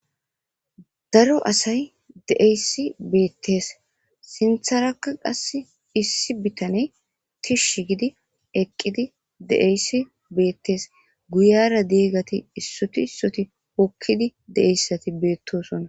Daro asay deeyssi beettes sintharakka qass issi bitaney tishsh gidi eqqidi de7eyssi beettes guyara deeggati issutisoti hokkidi deeyssati beettosonna.